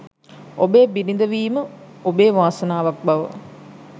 ඔබේ බිරිඳ වීම ඔබේ වාසනාවක් බව